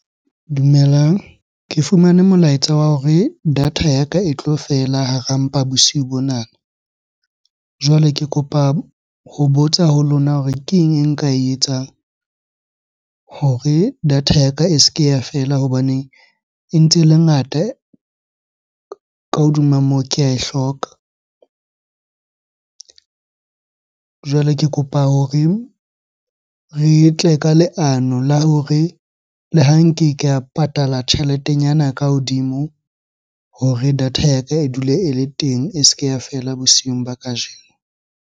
Dumelang. Ke fumane molaetsa wa hore data ya ka e tlo fela hara mpa bosiu bonana. Jwale ke kopa ho botsa ho lona hore keng e nka e etsang hore data ya ka e se ke ya fela? Hobaneng e ntse ele ngata, ka hodima moo ke ae hloka. Jwale ke kopa hore re e tle ka leano la hore le ha nke ka patala tjheletenyana ka hodimo hore data ya ka e dule ele teng, e se ke ya fela bosiung ba kajeno.